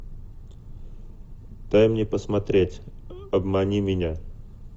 дай мне посмотреть обмани меня